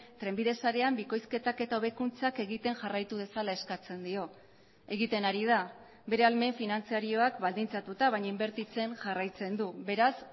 trenbide sarean bikoizketak eta hobekuntzak egiten jarraitu dezala eskatzen dio egiten ari da bere ahalmen finantzarioak baldintzatuta baina inbertitzen jarraitzen du beraz